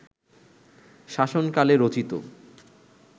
শাসনকালে রচিত